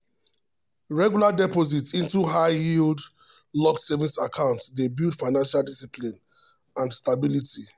regular deposits into high-yield locked savings accounts dey build financial discipline and stability.